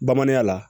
Bamananya la